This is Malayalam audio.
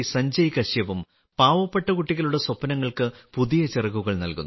സഞ്ജയ് കശ്യപും പാവപ്പെട്ട കുട്ടികളുടെ സ്വപ്നങ്ങൾക്ക് പുതിയ ചിറകുകൾ നൽകുന്നു